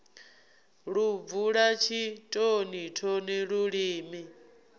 lu bvula tshitoni thoni lulimi